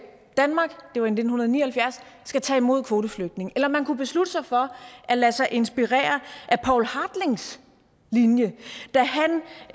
danmark skal tage imod kvoteflygtninge eller man kunne beslutte sig for at lade sig inspirere af poul hartlings linje